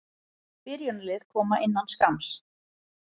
Byrjunarlið koma innan skamms.